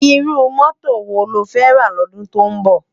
Irú mòtó wó ló fè rá lòdún tó nbò?